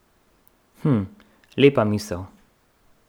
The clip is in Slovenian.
Hm, lepa misel.